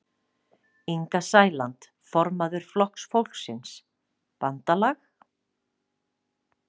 Inga Sæland, formaður Flokks fólksins: Bandalag?